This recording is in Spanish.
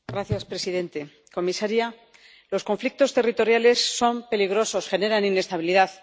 Señor presidente, señora comisaria, los conflictos territoriales son peligrosos, generan inestabilidad.